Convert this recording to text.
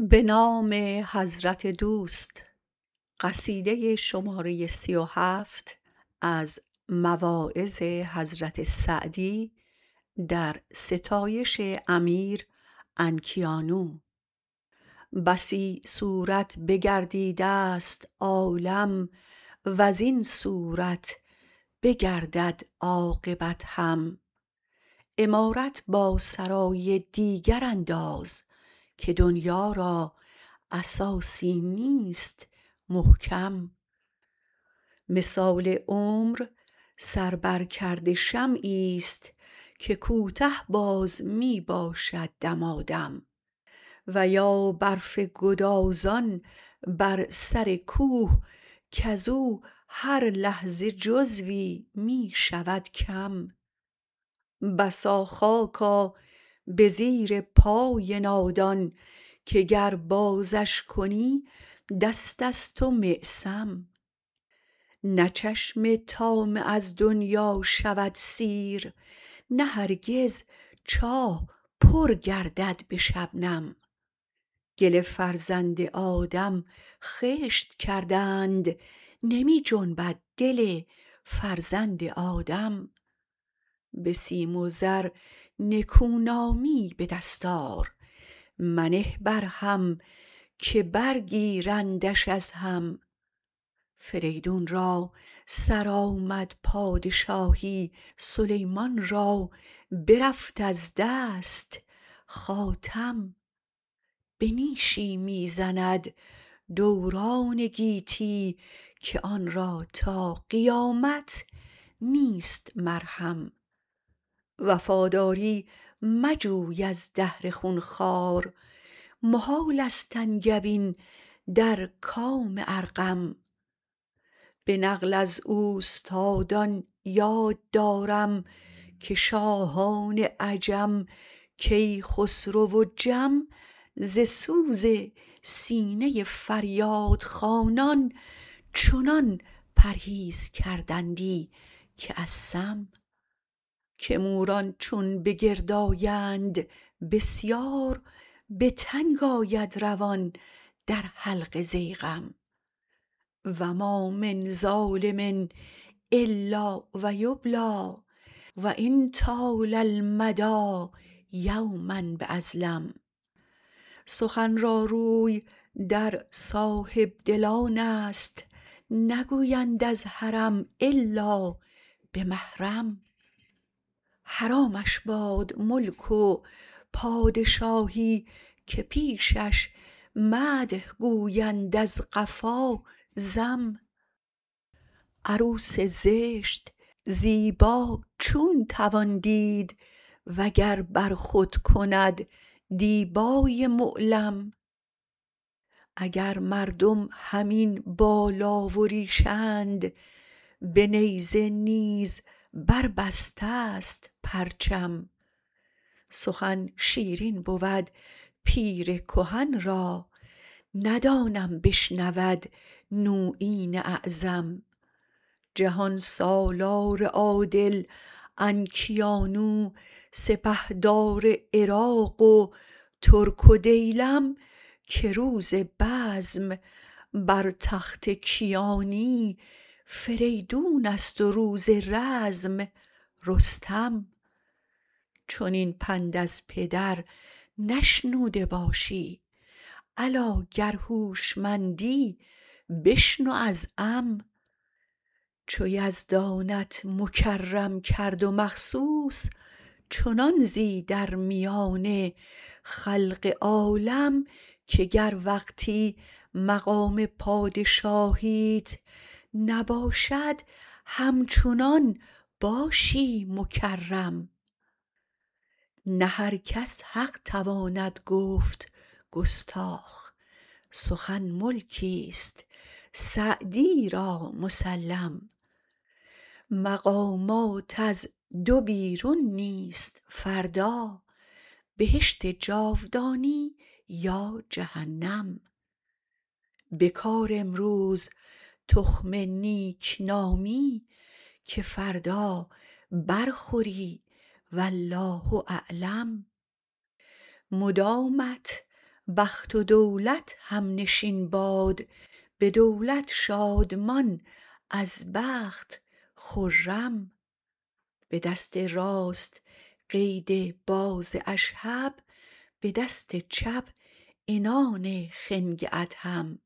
بسی صورت بگردیدست عالم وزین صورت بگردد عاقبت هم عمارت با سرای دیگر انداز که دنیا را اساسی نیست محکم مثال عمر سر بر کرده شمعیست که کوته باز می باشد دمادم و یا برف گدازان بر سر کوه کزو هر لحظه جزوی می شود کم بسا خاکا به زیر پای نادان که گر بازش کنی دستست و معصم نه چشم طامع از دنیا شود سیر نه هرگز چاه پر گردد به شبنم گل فرزند آدم خشت کردند نمی جنبد دل فرزند آدم به سیم و زر نکونامی به دست آر منه بر هم که برگیرندش از هم فریدون را سرآمد پادشاهی سلیمان را برفت از دست خاتم به نیشی می زند دوران گیتی که آن را تا قیامت نیست مرهم وفاداری مجوی از دهر خونخوار محالست انگبین در کام ارقم به نقل از اوستادان یاد دارم که شاهان عجم کیخسرو و جم ز سوز سینه فریاد خوانان چنان پرهیز کردندی که از سم که موران چون به گرد آیند بسیار به تنگ آید روان در حلق ضیغم و ما من ظالم الا و یبلی و ان طال المدی یوما باظلم سخن را روی در صاحبدلانست نگویند از حرم الا به محرم حرامش باد ملک و پادشاهی که پیشش مدح گویند از قفا ذم عروس زشت زیبا چون توان دید وگر بر خود کند دیبای معلم اگر مردم همین بالا و ریشند به نیزه نیز بربستست پرچم سخن شیرین بود پیر کهن را ندانم بشنود نویین اعظم جهان سالار عادل انکیانو سپهدار عراق و ترک و دیلم که روز بزم بر تخت کیانی فریدونست و روز رزم رستم چنین پند از پدر نشنوده باشی الا گر هوشمندی بشنو از عم چو یزدانت مکرم کرد و مخصوص چنان زی در میان خلق عالم که گر وقتی مقام پادشاهیت نباشد همچنان باشی مکرم نه هر کس حق تواند گفت گستاخ سخن ملکیست سعدی را مسلم مقامات از دو بیرون نیست فردا بهشت جاودانی یا جهنم بکار امروز تخم نیکنامی که فردا برخوری والله اعلم مدامت بخت و دولت همنشین باد به دولت شادمان از بخت خرم به دست راست قید باز اشهب به دست چپ عنان خنگ ادهم